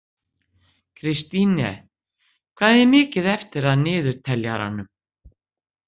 Kristine, hvað er mikið eftir af niðurteljaranum?